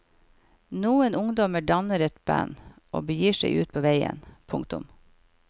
Noen ungdommer danner et band og begir seg ut på veien. punktum